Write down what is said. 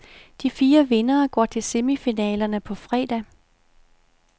De fire vindere går til semifinalerne på fredag.